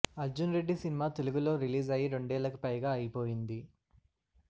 Arjun Reddy cinema తెలుగులో release అయ్యి రెండేళ్ళకి పైగా అయిపొయింది